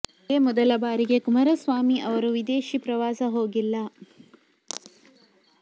ಇದೇ ಮೊದಲ ಬಾರಿಗೆ ಕುಮಾರಸ್ವಾರ ಸ್ವಾಮಿ ಅವರು ವಿದೇಶಿ ಪ್ರವಾಸ ಹೋಗಿಲ್ಲಾ